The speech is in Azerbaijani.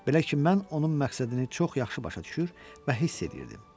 Belə ki, mən onun məqsədini çox yaxşı başa düşür və hiss eləyirdim.